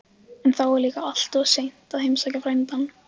En þá var líka alltof seint að heimsækja frændann.